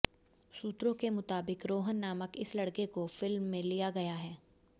सूत्रों के मुताबिक़ रोहन नामक इस लड़के को फिल्म में लिया गया है